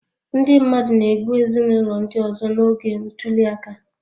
Ndị mmadụ na-egbu ezinụlọ ndị ọzọ n'oge ntuli aka